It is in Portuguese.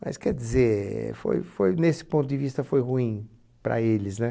Mas, quer dizer, foi foi nesse ponto de vista foi ruim para eles, né?